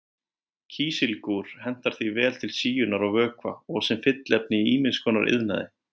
Kísilgúr hentar því vel til síunar á vökva og sem fylliefni í ýmis konar iðnaði.